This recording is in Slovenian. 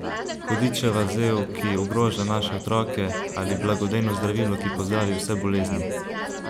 Hudičeva zel, ki ogroža naše otroke, ali blagodejno zdravilo, ki pozdravi vse bolezni?